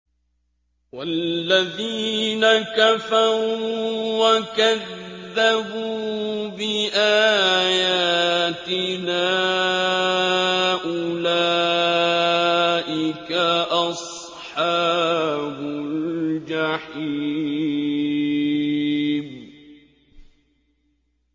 وَالَّذِينَ كَفَرُوا وَكَذَّبُوا بِآيَاتِنَا أُولَٰئِكَ أَصْحَابُ الْجَحِيمِ